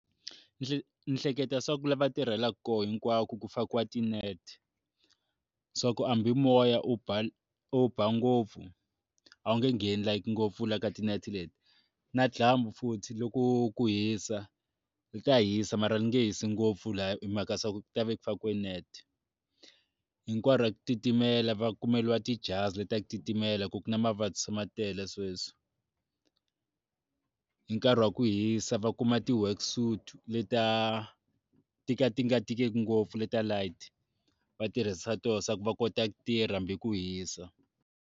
Ni hle ni hleketa swa ku lava tirhelaka koho hinkwako ku fakiwa ti-net swa ku hambi mimoya u ba u ba ngopfu a wu nge ngheni like ngopfu la ka ti-net leti na dyambu futhi loko ku hisa ri ta hisa mara ni nge hisi ngopfu la ya i mhaka swaku tava ku fakiwe net hinkwaro titimela va kumeriwa tijazi titimela ku na mavabyi ma tele sweswi, hi nkarhi wa ku hisa va kuma ti worksuit leta ti ka ti nga tikiki ngopfu leta light va tirhisa toho se ku va kota ku tirha hambi ku hisa.